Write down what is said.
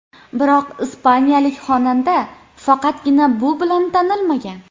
Biroq ispaniyalik xonanda faqatgina bu bilan tanilmagan.